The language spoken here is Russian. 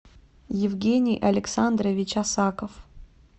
евгений александрович осаков